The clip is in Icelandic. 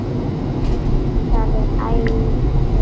Það er æði langt síðan.